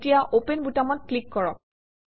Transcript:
এতিয়া অপেন বুটামত ক্লিক কৰক